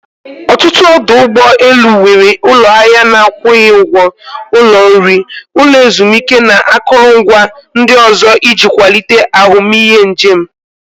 Ọtụtụ ọdụ ụgbọ elu nwere ụlọ ahịa na-akwụghị ụgwọ, ụlọ nri, ụlọ ezumike na akụrụngwa ndị ọzọ iji kwalite ahụmịhe njem.